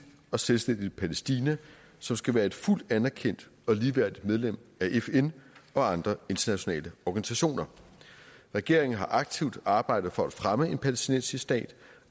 og selvstændigt palæstina som skal være et fuldt anerkendt og ligeværdigt medlem af fn og andre internationale organisationer regeringen har aktivt arbejdet for at fremme en palæstinensisk stat